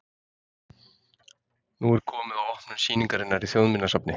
Nú er komið að opnun sýningarinnar í Þjóðminjasafni.